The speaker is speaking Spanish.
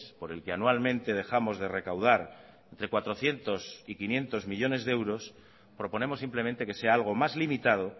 por el que anualmente dejamos de recaudar entre cuatrocientos y quinientos millónes de euros proponemos simplemente que sea algo más limitado